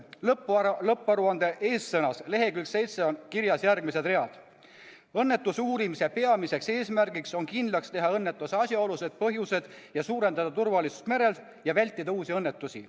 Lõpparuande eessõnas leheküljel 7 on kirjas järgmised read: "Õnnetuse uurimise peamiseks eesmärgiks on kindlaks teha õnnetuse asjaolud ja põhjused, et suurendada turvalisust merel ja vältida uusi õnnetusi.